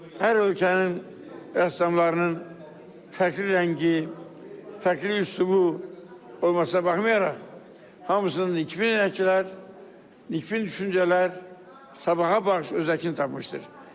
Hər ölkənin rəssamlarının fərqli rəngi, fərqli üslubu olmasına baxmayaraq, hamısının nikbin əhval-ruhiyyələr, nikbin düşüncələr sabaha baxış özəyini tapmışdır.